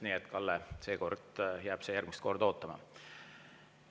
Nii et, Kalle, seekord jääb see järgmist korda ootama.